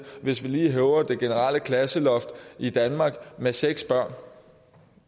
hvis vi lige hæver det generelle klasseloft i danmark med seks børn